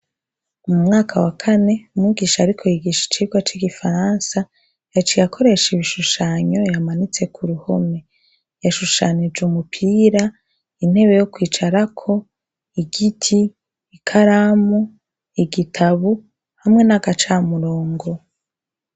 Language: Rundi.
Mu mwaka wa kane, umwigisha ariko yigisha icigwa c'igifaransa, yaciye akoresha ibishushanyo yamanitse ku ruhome. Yashushanije umupira, intebe yo kwicarako, igiti, ikaramu, igitabu hamwe n'agacamurongo.